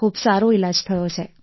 ખૂબ સારો ઈલાજ થયો છે